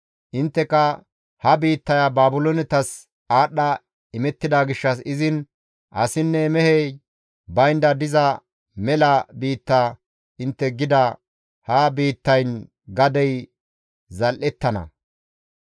Intteka, ‹Ha biittaya Baabiloonetas aadhdha imettida gishshas izin asinne mehey baynda diza mela biitta› intte gida ha biittayn gadey zal7ettana.